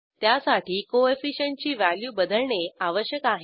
त्यासाठी कोएफिशियंट ची व्हॅल्यू बदलणे आवश्यक आहे